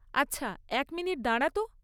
আচ্ছা, এক মিনিট দাঁড়া তো।